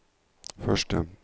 første